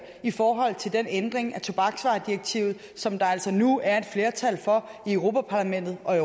i forhold til den ændring af tobaksvaredirektivet som der altså nu er et flertal for i europa parlamentet og